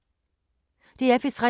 DR P3